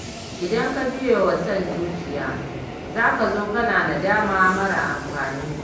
Idan ka biyewa son zuciya za ka zo kana nadama mara amfani